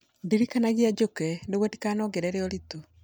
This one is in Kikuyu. Ndirikanagia njũke nĩguo ndikanongerere ũritũ